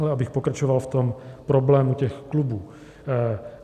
Ale abych pokračoval v tom problému těch klubů.